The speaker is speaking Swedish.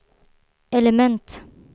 element